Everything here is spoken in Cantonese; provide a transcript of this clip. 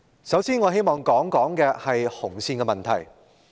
首先，我希望談談"紅線"的問題。